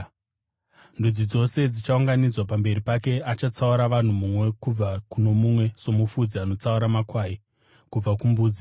Ndudzi dzose dzichaunganidzwa pamberi pake, achatsaura vanhu mumwe kubva kuno mumwe somufudzi anotsaura makwai kubva kumbudzi.